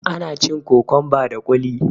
ana cin kokonba da kuli